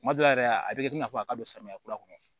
Kuma dɔ la yɛrɛ a bɛ kɛ i n'a fɔ a ka don samiya kura kɔnɔ